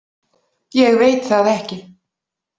Ég veit það ekki.